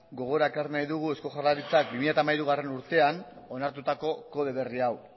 gogora ekarri nahi dugu eusko jaurlaritzak bi mila hamairugarrena urtean onartutako kode berri hau